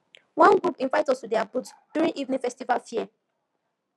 one group invite us to their booth during evening festival fair